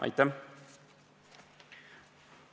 Aitäh!